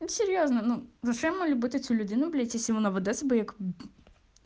серьёзно ну зачем мы любим эти люди ну блять из иваново до